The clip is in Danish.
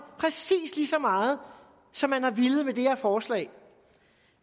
præcis lige så meget som man har villet med det her forslag